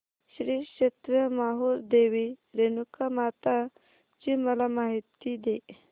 श्री क्षेत्र माहूर देवी रेणुकामाता ची मला माहिती दे